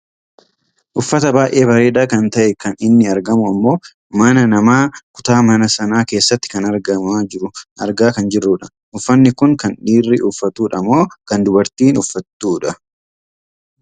Uffata baayyee bareedaa kan ta'e kan inni argamu ammoo mana namaa kutaa mana sanaa keessatti kan argamaa jiru argaa kan jirrudha. Uffanni kun kan dhiirri uffatudha moo kan dubartiin uffattudha?